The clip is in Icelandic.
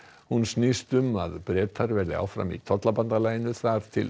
hún snýst um að Bretar verði áfram í tollabandalaginu þar til